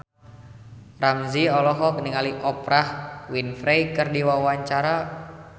Ramzy olohok ningali Oprah Winfrey keur diwawancara